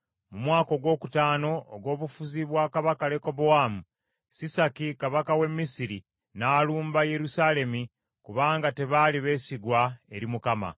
Mu mwaka ogwokutaano ogw’obufuzi bwa kabaka Lekobowaamu, Sisaki kabaka w’e Misiri n’alumba Yerusaalemi kubanga tebaali beesigwa eri Mukama .